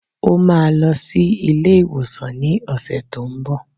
Ó máa lọ sí ilé-ìwòsàn ní ọ̀sẹ̀ tó n bọ̀.